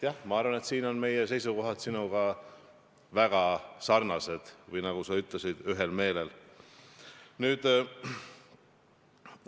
Jah, ma arvan, et siin on meie seisukohad väga sarnased või nagu sa ütlesid, me oleme ühel meelel.